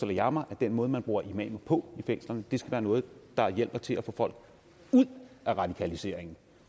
jeg mig at den måde man bruger imamer på i fængslerne skal være noget der hjælper til at få folk ud af radikaliseringen